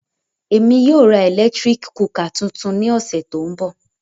Émi yóò ra eletirik kukà tuntun ni ọsẹ to nbọ.